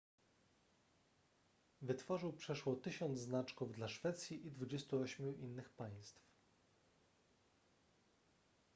wytworzył przeszło 1000 znaczków dla szwecji i 28 innych państw